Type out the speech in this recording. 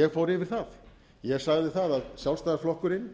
ég fór yfir það ég sagði að sjálfstæðisflokkurinn